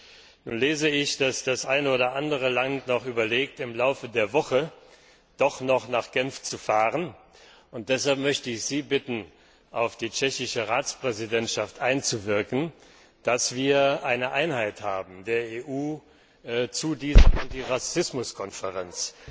Nun lese ich, dass das eine oder andere Land überlegt, im Laufe der Woche doch noch nach Genf zu fahren, und deshalb möchte ich Sie bitten, auf die tschechische Ratspräsidentschaft einzuwirken, dass wir als EU eine einheitliche Haltung haben zu dieser Anti Rassismus Konferenz.